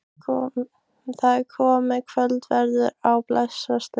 Það er komið að kvöldverði á Bessastöðum.